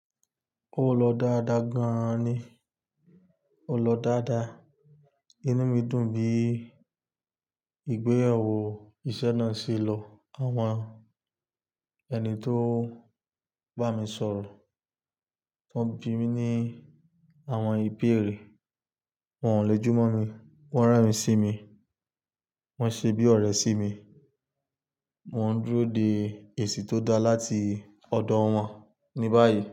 Ó lọ dáadáa gan ni, ó lọ dáadáa. Inú mi dùn bí ìgbéyàwó ìṣe náà ṣe lọ. Àwọn ẹni tó bá mi sọ̀rọ̀, wọ́n ń bi mí ní àwọn ìbéèrè, wọ́n le jùmọ̀ mi, wọ́n rán mi sími, wọ́n ṣe bí ọ̀rẹ́ sí mi. Mò ń dúró de èsì tó dá láti ọ̀dọ̀ wọn ni báyìí.